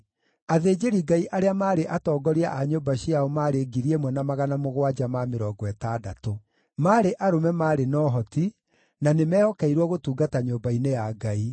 Athĩnjĩri-Ngai arĩa maarĩ atongoria a nyũmba ciao maarĩ 1,760. Maarĩ arũme maarĩ na ũhoti, na nĩ meehokeirwo gũtungata nyũmba-inĩ ya Ngai.